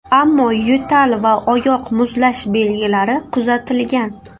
Ammo yo‘tal va oyoq muzlash belgilari kuzatilgan.